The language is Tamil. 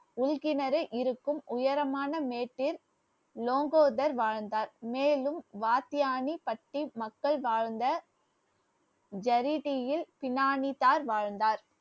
உள் கிணறு இருக்கும் உயரமான மேட்டில் லோங்கோதர் வாழ்ந்தார் மேலும் வாத்தியானிபட்டி மக்கள் வாழ்ந்த ஜரி தீயில் பினாமித்தார் வாழ்ந்தார்